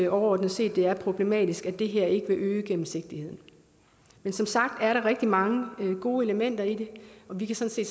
overordnet set at det er problematisk at det her ikke vil øge gennemsigtigheden men som sagt er der rigtig mange gode elementer i det og vi kan sådan